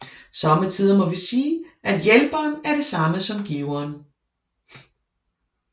Somme tider må vi sige at hjælperen er det samme som giveren